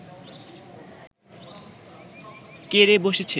কে রে বসেছে